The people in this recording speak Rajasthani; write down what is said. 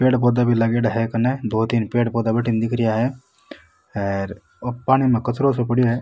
पेड़ पौधे भी लागयोड़ा है कने दो तीन पेड़ पौधा बठीने दिख रिया है हेर ओ पानी में कचरो सो पड़यो है।